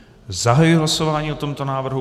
Zahajuji hlasování o tomto návrhu.